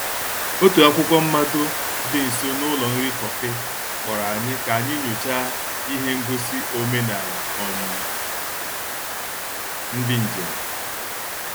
Otu akwụkwọ mmado dị nso n’ụlọ nri kọfị kpọrọ anyị ka anyị nyochaa ihe ngosi omenala um ndị njem.